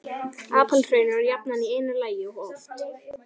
Apalhraun eru jafnan í einu lagi og oft